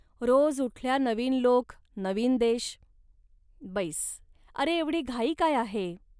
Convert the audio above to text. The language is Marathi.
रोज उठल्या नवीन लोक, नवीन देश. बैस, अरे, एवढी घाई काय आहे